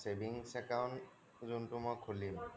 Savings account যোনটো মই খুলিম